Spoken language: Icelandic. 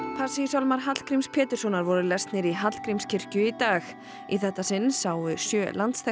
Passíusálmar Hallgríms Péturssonar voru lesnir í Hallgrímskirkju í dag í þetta sinn sáu sjö